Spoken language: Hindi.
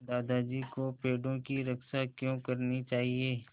दादाजी को पेड़ों की रक्षा क्यों करनी चाहिए